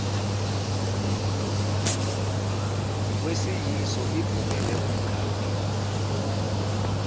kwesiyiso ivumele umkhaphi